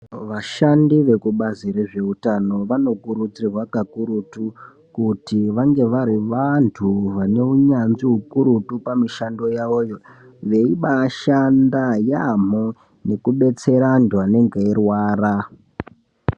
Vashandi veku bazi rezve utano vano kurudzirwa kakurutu kuti vange vari vantu vane unyanzvi ukurutu pa mishando yavoyo veibai shanda yamho neku detsera antu anenge eirwara.